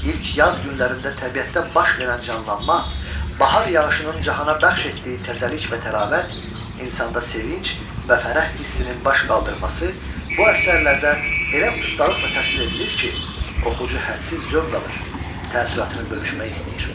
İlk yaz günlərində təbiətdə baş verən canlanma, bahar yağışının cahana bəxş etdiyi təzəlik və təravət, insanda sevinc və fərəh hissinin baş qaldırması bu əsərlərdə elə ustalıqla təsvir edilir ki, oxucu hədsiz zövq alır, təəssüratını bölüşmək istəyir.